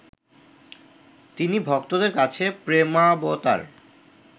তিনি ভক্তদের কাছে প্রেমাবতার